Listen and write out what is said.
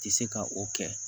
Tɛ se ka o kɛ